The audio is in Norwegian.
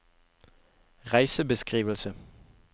reisebeskrivelse